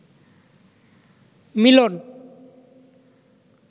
মিলন